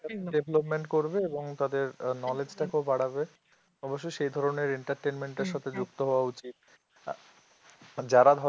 development করবে এবং তাদের knowledge টাকেও বাড়াবে অবশ্য সেধরনের entertainment টার সাথে যুক্ত হওয়া উচিত যারা ধরো